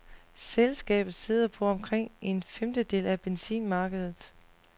Selskabet sidder på omkring en femtedel af benzinmarkedet.